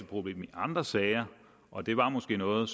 problem i andre sager og det var måske noget